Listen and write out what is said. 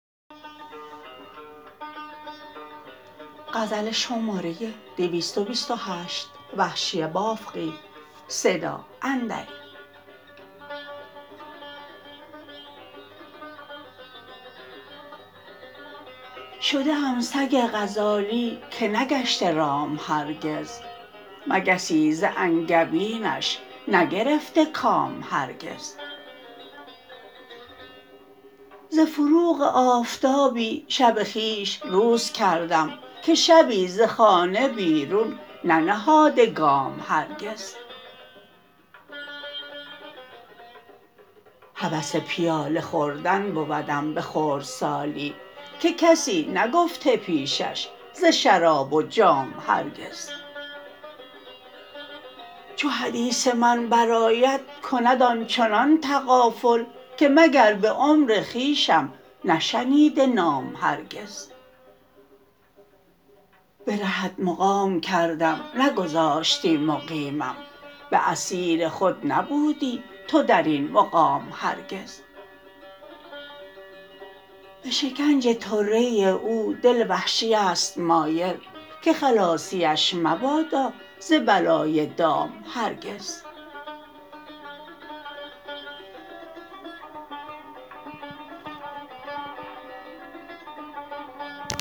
شده ام سگ غزالی که نگشته رام هرگز مگسی ز انگبینش نگرفته کام هرگز ز فروغ آفتابی شب خویش روز خواهم که شبی ز خانه بیرون ننهاده گام هرگز هوس پیاله خوردن بودم به خردسالی که کسی نگفته پیشش ز شراب و جام هرگز چو حدیث من بر آید کند آنچنان تغافل که مگر به عمر خویشم نشنیده نام هرگز به رهت مقام کردم نگذاشتی مقیمم به اسیر خود نبودی تو در این مقام هرگز به شکنج طره او دل وحشی است مایل که خلاصیش مبادا ز بلای دام هرگز